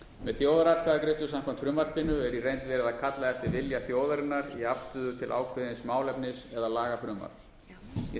með þjóðaratkvæðagreiðslu samkvæmt frumvarpinu er í reynd verið að kalla eftir vilja þjóðarinnar í afstöðu til ákveðins málefnis eða lagafrumvarps í